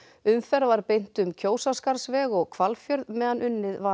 umferð var beint um Kjósarskarðsveg og Hvalfjörð meðan unnið var